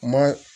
Ma